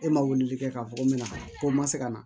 E ma weleli kɛ k'a fɔ ko n mɛna ko n ma se ka na